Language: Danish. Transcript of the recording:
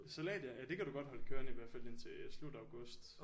Salat ja det kan du godt holde kørende i hvert fald indtil slut august